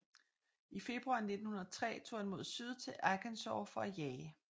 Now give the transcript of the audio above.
I februar 1903 tog han mod syd til Arkansas for at jage